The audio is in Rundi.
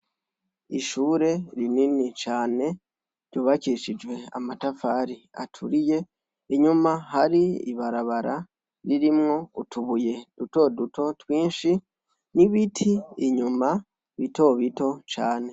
Ishure rinini cane ryubakishijwe amatafari aturiye, inyuma hari ibarabara ririmwo utubuye duto duto twinshi, n'ibiti inyuma bito bito cane.